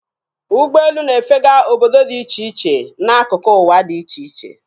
Ụgbọelụ na-efega obodo dị iche iche dị n'akụkụ ụwa dị iche iche.